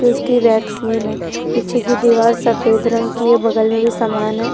उसकी वैक्सीन है पिछेकी दिवार सफेद रंग कि है बगल मे भी समान है।